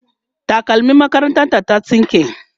takalmim makarantar ta ta tsinke